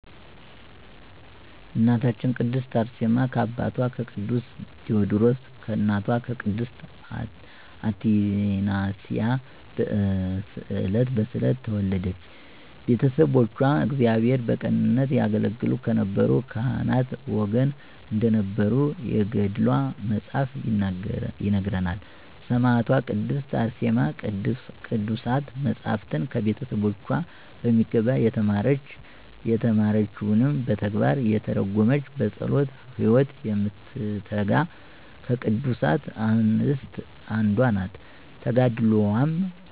እናታችን ቅድስት አርሴማ ከአባቷ ከቅዱስ ቴወድሮስ ከእናቷ ቅድስት አትናስያ በስዕለት ተወለደች። ቤተሰቦቿ እግዚአብሔርን በቅንነት ያገለገሉ ከነበሩ ካህናት ወገን እንደነበሩ የገድሏ መፅሀፍ ይነግረናል። ሰማዕቷ ቅድስት አርሴማ ቅዱሳት መፃፍትን ከቤተሰቦቿ በሚገባ የተማረች፤ የተማረችዉንም በተግባር የተረጎመች፤ በፀሎት ህይወት የምትተጋ ከቅዱሳት አንስት አንዷ ናት። ተጋድሎዋም